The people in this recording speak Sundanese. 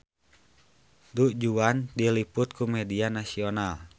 Du Juan diliput ku media nasional